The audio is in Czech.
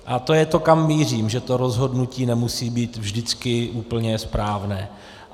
A to je to, kam mířím, že to rozhodnutí nemusí být vždycky úplně správné.